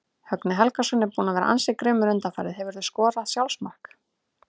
Högni Helgason er búinn að vera ansi grimmur undanfarið Hefurðu skorað sjálfsmark?